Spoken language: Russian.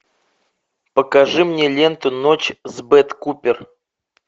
покажи мне ленту ночь с бет купер